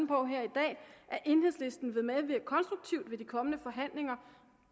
på her i dag at enhedslisten vil medvirke konstruktivt ved de kommende forhandlinger